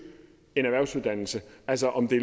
en erhvervsuddannelse altså om det